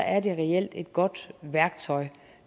er det reelt et godt værktøj